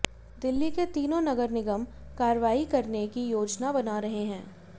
दिल्ली के तीनों नगर निगम कार्रवाई करने की योजना बना रहे हैं